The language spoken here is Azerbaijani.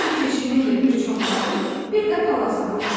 Bu keçinin də bir çomağı, bir də palazı vardı.